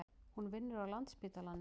Hún vinnur á Landspítalanum.